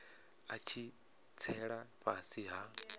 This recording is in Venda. a tshi tsela fhasi ha